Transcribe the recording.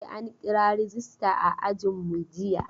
E, an kira rejista a ajinmu jiya.